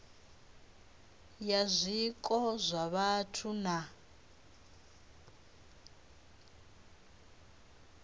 ya zwiko zwa vhathu na